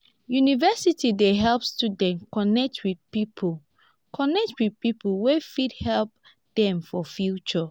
university dey help students connect with people connect with people wey fit help dem for future.